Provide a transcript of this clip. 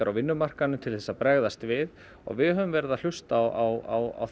á vinnumarkaði til að bregðast við og við höfum verið að hlusta á